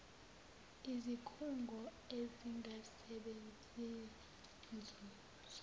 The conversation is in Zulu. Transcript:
izikhungo ezingasebenzeli nzuzo